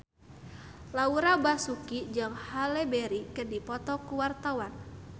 Laura Basuki jeung Halle Berry keur dipoto ku wartawan